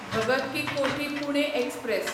Bhagat ki Kothi Pune express